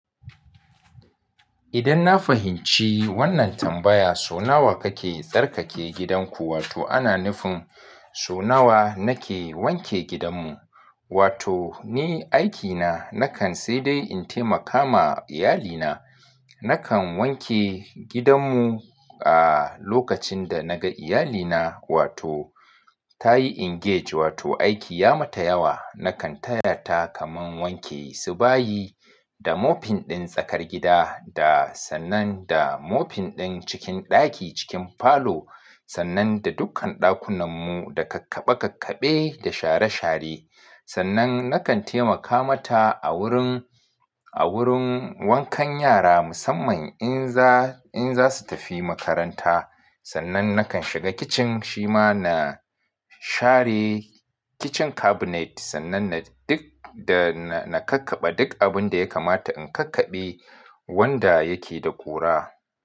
Idan na fahimci wannan tambaya, so nawa kake tsarkake gidanku? Wato ana nufin so nawa nake wanke gidanmu? Wato ni aikina nakan sai dai in taimaka ma iyalina. Nakan wanke gidanmu a lokacin da na ga iyalina, wato ta yi engage, wato aiki ya mata yawa. Nakan taya ta kamar wanke su bayi da moping ɗin tsakar gida da sannan da moping ɗin cikin ɗaki, cikin falo, sannan da dukkan ɗakunan mu, da kakkaɓa kakkaɓe da share share. Sannan nakan taimaka mata a wurin, a wurin wankan yara musamman in za, in za su tafi makaranta. Sannan nakan shiga kicin shi ma na share kicin cabinet sannan na duk, da na kakkaɓe duk abun da ya kamata in kakkabe wanda yake da ƙura.